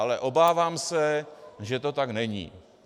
Ale obávám se, že to tak není.